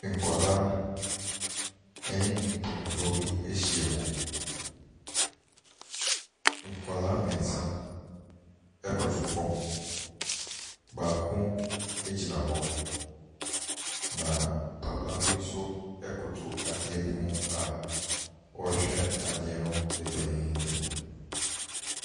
Nkwadaa ne mpanimfoɔ bi ahyiam. Nkwadaa mmeɛnsa koto fam, baako gyina hɔ, na papa bi nso koto adeɛ bi ho a ɔrehwɛ adeɛ no dennennen.